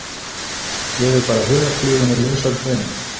Gefið bara hugarfluginu lausan tauminn.